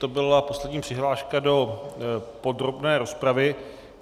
To byla poslední přihláška do podrobné rozpravy.